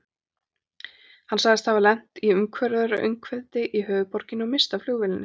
Hann sagðist hafa lent í umferðaröngþveiti í höfuðborginni og misst af flugvélinni.